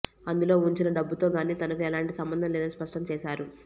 అందులో ఉంచిన డబ్బుతో గానీ తనకు ఎలాంటి సంబంధం లేదని స్పష్టం చేశారు